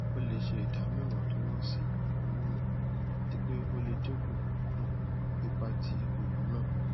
o le ṣe idamu iwontunwonsi homonu ati pe o le dinku um ipa ti oògùn naa